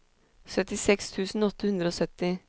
syttiseks tusen åtte hundre og sytti